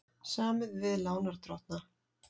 Samið við lánardrottna